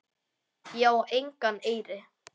Ég á engan eyri.